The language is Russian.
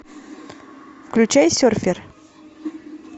включай серфер